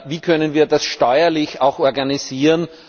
Wie können wir das steuerlich auch organisieren?